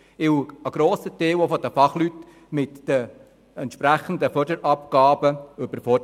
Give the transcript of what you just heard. Denn ein grosser Teil der Fachleute ist mit den entsprechenden Förderabgaben überfordert.